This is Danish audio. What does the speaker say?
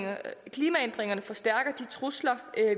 klimaændringerne forstærker de trusler